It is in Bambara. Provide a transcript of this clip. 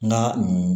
N ka nin